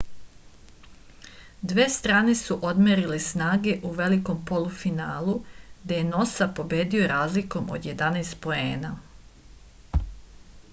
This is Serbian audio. dve strane su odmerile snage u velikom polufinalu gde je nosa pobedio razlikom od 11 poena